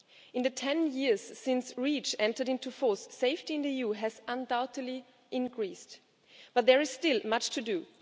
In the 10 years since REACH entered into force, safety in the EU has undoubtedly increased, but there is still much to do.